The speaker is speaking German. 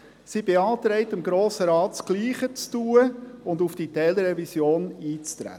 Sie beantragt dem Grossen Rat, das Gleiche zu tun und auf die Teilrevision einzutreten.